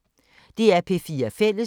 DR P4 Fælles